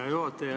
Hea juhataja!